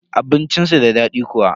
Abincin su da daɗi kuwa?